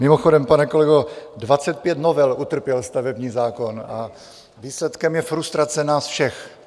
Mimochodem, pane kolego, 25 novel utrpěl stavební zákon a výsledkem je frustrace nás všech.